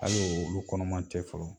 hali olu kɔnɔma tɛ fɔlɔ.